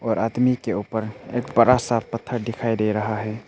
और आदमी के ऊपर एक बड़ा सा पत्थर दिखाई दे रहा है।